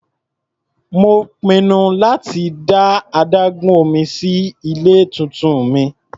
Mò ń pinnu láti dá adágún omí sí ilé tuntun mi.